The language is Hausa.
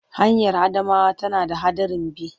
Hanyar Adamawa tana da haɗarin bi.